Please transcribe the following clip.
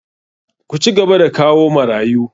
Ku cigaba da kawo marayu!